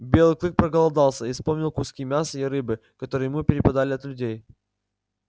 белый клык проголодался и вспомнил куски мяса и рыбы которые ему перепадали от людей